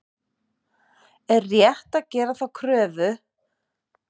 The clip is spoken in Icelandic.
Er rétt að gera þá kröfu og væntingar að við vinnum Albaníu annað kvöld?